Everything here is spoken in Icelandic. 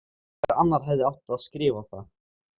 Hver annar hefði átt að skrifa það?